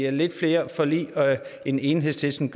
i lidt flere forlig end enhedslisten